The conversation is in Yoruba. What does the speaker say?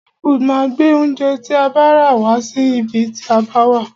Hey foods máa gbé oúnjẹ tí a bá rà wá sí ibi tí a bá wà.